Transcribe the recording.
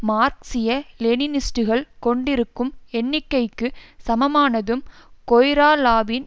மார்க்சிய லெனினிஸ்டுகள் கொண்டிருக்கும் எண்ணிக்கைக்கு சமமானதும் கொய்ராலாவின்